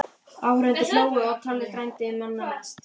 Áhorfendur hlógu og Tolli frændi manna mest.